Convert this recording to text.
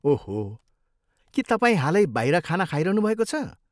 ओहो, के तपाईँ हालै बाहिर खाना खाइरहनुभएको छ?